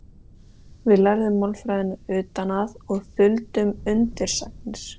Við lærðum málfræðina utan að og þuldum endursagnir.